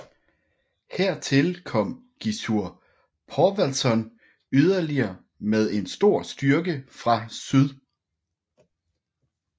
Hertil kom Gissur Þorvaldsson yderligere med en stor styrke fra syd